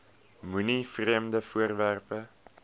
moenie vreemde voorwerpe